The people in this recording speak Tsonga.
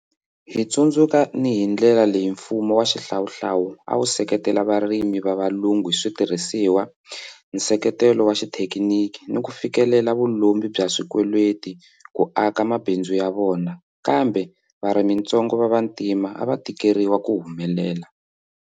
Hi tsundzuka ni hi ndlela leyi mfumo wa xihlawuhlawu a wu seketela varimi va valungu hi switirhisiwa, nseketelo wa xithekiniki ni ku fikelela vu lombi bya swikweleti ku aka mabindzu ya vona, kambe varimitsongo va Vantima a va tikeriwa ku humelela.